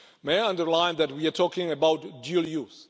May I underline that we are talking about dual use.